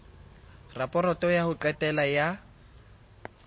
raporoto ya ho qetela ya